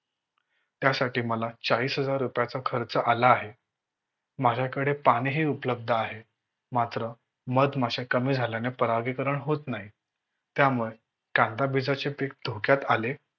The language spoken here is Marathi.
त्यासाठी मला चाळीस हजार रुपयाचा खर्च आला आहे. माझ्याकडे पाणीही उपलब्ध आहे. मात्र मधमाशा कमी झाल्याने परागीकरण होत नाही. त्यामुळे कांदा बीजाचे पीक धोक्यात आले.